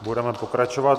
Budeme pokračovat.